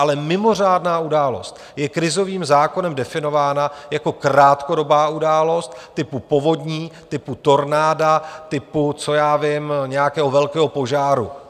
Ale mimořádná událost je krizovým zákonem definována jako krátkodobá událost typu povodní, typu tornáda, typu, co já vím, nějakého velkého požáru.